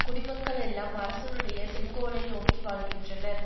குடிமக்கள் எல்லாம் அரசனுடைய செங்கோலை நோக்கி வாழ்கின்றனர்